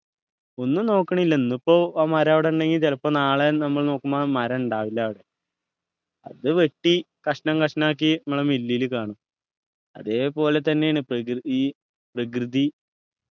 ഒന്നും നോക്കണില്ല ഇന്നിപ്പോ ആ മരം അവിടെ ഇണ്ടെങ്കി ചിലപ്പോ നാളെ നമ്മൾ നോക്കുമ്പോ ആ മരം ഇണ്ടാവില്ല അവിടെ അത് വെട്ടി കഷ്ണം കഷ്ണം ആക്കി നമ്മളെ മില്ലിൽ കാണും അതേപോലെ തന്നെയാണ് പ്രകൃ ഈ പ്രകൃതി